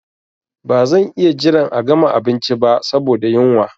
Ba zan iya jiran a gama abinci ba saboda yunwa.